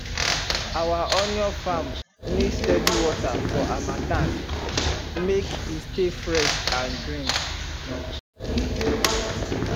our onion farm need steady water for harmattan make e stay fresh and green